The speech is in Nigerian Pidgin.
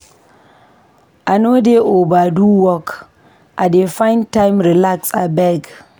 I no dey overdo work, I dey find time relax abeg.